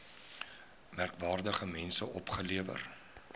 merkwaardige mense opgelewer